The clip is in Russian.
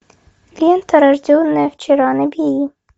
лента рожденная вчера набери